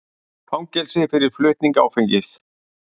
Fangelsi fyrir flutning áfengis